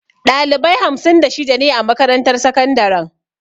Ɗalibai hamsin da shida ne a makarantar sakandaren.